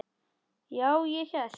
Já, ég hélt.